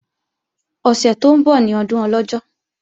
Ọ̀sẹ̀ tó ń bọ̀ ní ọdún Ọlọ́jọ́